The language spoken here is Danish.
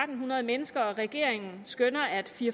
hundrede mennesker og regeringen skønner at fire